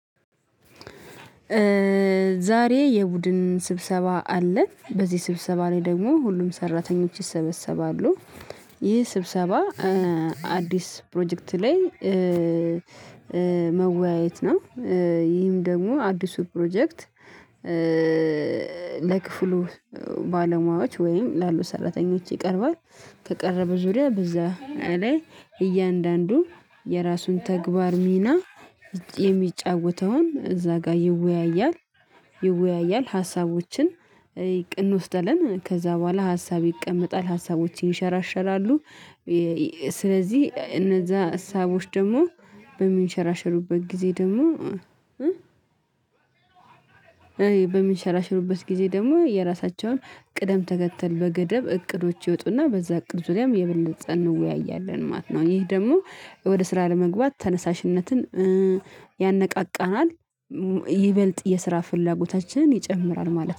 ዛሬ የቡድን ስብሰባ አለ። በዚህ ስብሰባ ላይ ደግሞ ሁሉም ሰራተኞች ይሰበሰባሉ። ይህ ስብሰባ አዲስ ፕሮጀክት ላይ መወያየት ነው። ይህም ደግሞ አዲሱ ፕሮጀክት ለክፍሉ ባለሙያዎች ወይም ላሉ ሰራተኞች ይቀርባል። ከቀረበ ዙሪያ በዛ ላይ እያንዳንዱ የራሱን ተግባር ሚና የሚጫወተውን እዛ ጋር ይወያያል ይወያያል ሀሳቦችን እንወስዳለን። ከዛ በኋላ ሀሳብ ይቀመጣል ሀሳቦች ይሸራሸራሉ። ስለዚህ እነዛ ሀሳቦች ደግሞ በሚንሸራሸሩበት ጊዜ ደግሞ በሚንሸራሸሩበት ጊዜ ደግሞ የራሳቸውን ቅደም ተከተል በገደብ እቅዶች ይወጡና በዛ እቅድ ዙሪያም የበለጠ እንወያያለን ማለት ነው። ይህ ደግሞ ወደ ስራ ለመግባት ተነሳሽነትን ያነቃቃናል። ይበልጥ የስራ ፍላጎታችንን ይጨምራል ማለት ነው።